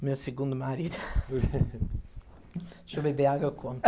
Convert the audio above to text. O meu segundo marido... Deixa eu beber água e eu conto.